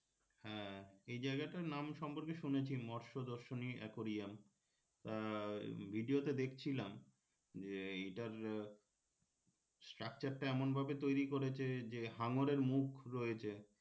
হ্যাঁ এই জায়গাটার নাম সম্পর্কে শুনেছি মৎস্য দর্শনী aquarium আহ video তে দেখছিলাম যে এইটার structure টা এমন ভাবে তৈরি করেছে যে হাঙরের মুখ রয়েছে